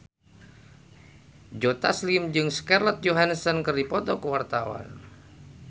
Joe Taslim jeung Scarlett Johansson keur dipoto ku wartawan